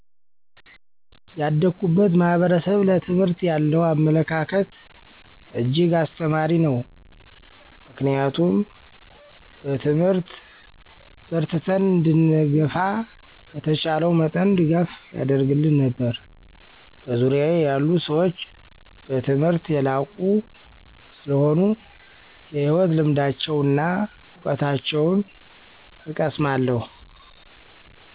ያደኩበት ማህበረሰብ ለትምህርት ያለው አመለካከት እጅግ አስተማሪ ነው ምክንያቱም በትምህርት በርትተን እንድንገፋ በተቻለው መጠን ድጋፍ ያደርግልን ነበር። በዙርያየ ያሉ ሰዎች በትምህርት የላቁ ሰለሆኑ የህይወት ልምዳቸውና እውቀታቸውን እቀሰማለሁ።